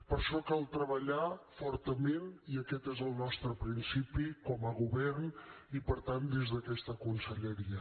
per això cal treballar fortament i aquest és el nostre principi com a govern i per tant des d’aquesta conselleria